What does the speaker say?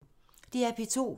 DR P2